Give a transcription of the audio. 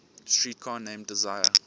streetcar named desire